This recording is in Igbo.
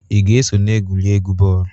Ị ga-eso na egwuregwu bọọlụ?